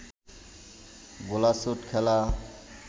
গোল্লাছুট খেলা